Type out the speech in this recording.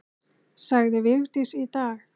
Sagði Vigdís í dag.